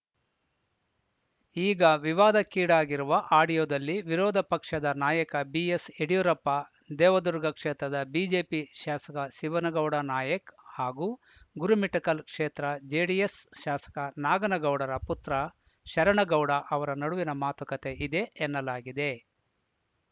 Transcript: ಈಗ ವಿವಾದಕ್ಕೀಡಾಗಿರುವ ಆಡಿಯೋದಲ್ಲಿ ವಿರೋಧ ಪಕ್ಷದ ನಾಯಕ ಬಿಎಸ್‌ಯಡಿಯೂರಪ್ಪ ದೇವದುರ್ಗ ಕ್ಷೇತ್ರದ ಬಿಜೆಪಿ ಶಾಸಕ ಶಿವನಗೌಡ ನಾಯಕ್‌ ಹಾಗೂ ಗುರುಮಿಠಕಲ್‌ ಕ್ಷೇತ್ರ ಜೆಡಿಎಸ್‌ ಶಾಸಕ ನಾಗನಗೌಡರ ಪುತ್ರ ಶರಣಗೌಡ ಅವರ ನಡುವಿನ ಮಾತುಕತೆ ಇದೆ ಎನ್ನಲಾಗಿದೆ